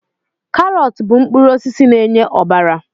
Karọt bụ mkpụrụ osisi na-enye ọbara